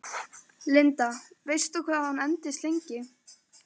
Linda: Veistu hvað hún endist lengi?